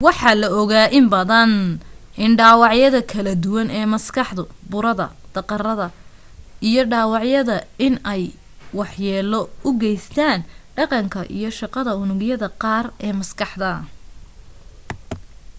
waxaa la ogaa inbadan in dhaawacyada kala duwan ee maskaxda burada daqarada iyo dhaawacyada in ay wax yeelo u geystaan dhaqanka iyo shaqada unugyada qaar ee maskaxda